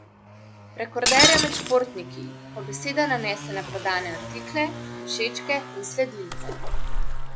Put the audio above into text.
Rekorderja med športniki, ko beseda nanese na prodane artikle, všečke in sledilce.